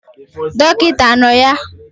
Dokita ano ya?